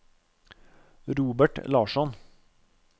Robert Larsson